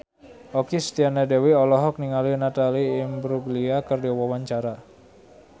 Okky Setiana Dewi olohok ningali Natalie Imbruglia keur diwawancara